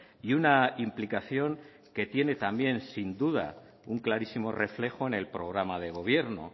y una implicación que tiene también sin duda un clarísimo reflejo en el programa de gobierno